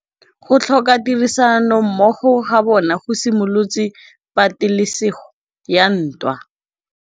Go tlhoka tirsanommogo ga bone go simolotse patêlêsêgô ya ntwa.